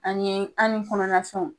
An ye , ani kɔnɔna fɛnw.